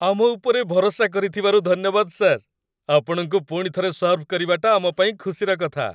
ଆମ ଉପରେ ଭରସା କରିଥିବାରୁ ଧନ୍ୟବାଦ, ସାର୍ । ଆପଣଙ୍କୁ ପୁଣିଥରେ ସର୍ଭ କରିବାଟା ଆମ ପାଇଁ ଖୁସିର କଥା ।